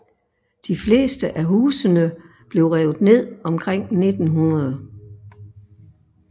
De fleste af husene blev revet ned omkring 1900